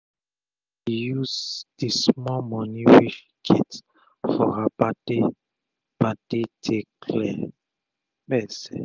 she use d small moni wey she gets for her birthday birthday take clear gbese